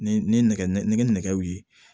Ni ni nɛgɛ nɛgɛ nɛgɛw ye